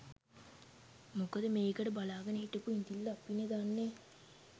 මොකද මේකට බලාගෙන හිටපු ඉඳිල්ල අපිනේ දන්නේ.